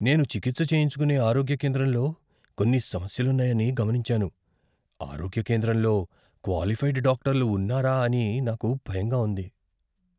నేను చికిత్స చేయించుకునే ఆరోగ్య కేంద్రంలో కొన్ని సమస్యలున్నాయని గమనించాను. ఆరోగ్య కేంద్రంలో క్వాలిఫైడ్ డాక్టర్లు ఉన్నారా అని నాకు భయంగా ఉంది.